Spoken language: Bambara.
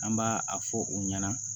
An b'a a fɔ u ɲɛna